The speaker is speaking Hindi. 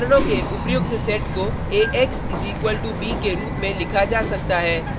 समीकरणों के उपर्युक्त सेट को ax = b के रूप में लिखा जा सकता है